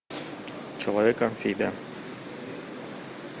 человек амфибия